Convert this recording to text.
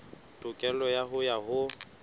tokelo ya hao ya ho